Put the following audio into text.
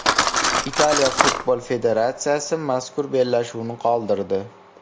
Italiya futbol federatsiyasi mazkur bellashuvni qoldirdi.